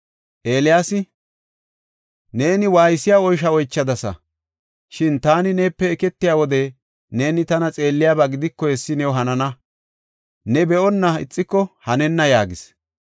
Elsi, “Neeni waaysiya oysho oychadasa. Shin taani neepe eketiya wode neeni tana xeelliyaba gidiko, hessi new hanana. Ne be7onna ixiko hanenna” yaagis.